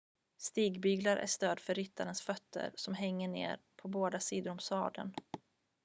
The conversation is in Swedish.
stigbyglar är stöd för ryttarens fötter som hänger ner på båda sidor om sadeln